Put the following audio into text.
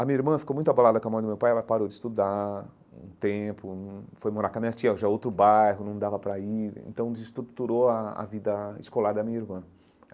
A minha irmã ficou muito abalada com a morte do meu pai, ela parou de estudar um tempo hum, foi morar com a minha tia já em outro bairro, não dava para ir, então desestruturou a a vida escolar da minha irmã.